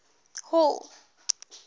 hall